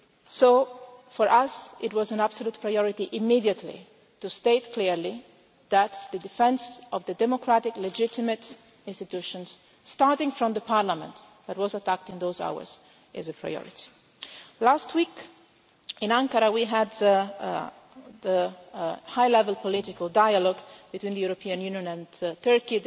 So, for us, it was an absolute priority immediately to state clearly that the defence of the democratic legitimate institutions, starting with the parliament that was attacked in those hours, is a priority. Last week in Ankara we had the high level political dialogue between the European Union and Turkey.